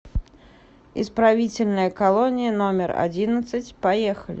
исправительная колония номер одиннадцать поехали